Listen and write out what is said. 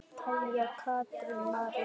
Kveðja, Katrín María.